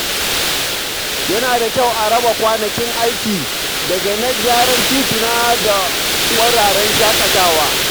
Yana da kyau a raba kwanakin aiki daga na gyaran tituna da wuraren shaƙatawa.